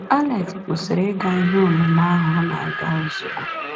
Alex kwụsịrị ịga ihe ọmụmụ ahụ ọ na-aga ozugbo.